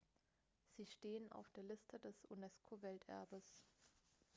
sie stehen auf der liste des unesco-welterbes